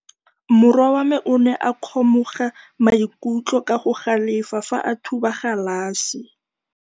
Morwa wa me o ne a kgomoga maikutlo ka go galefa fa a thuba galase.